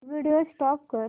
video stop कर